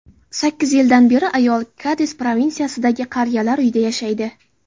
Sakkiz yildan beri ayol Kadis provinsiyasidagi qariyalar uyida yashaydi.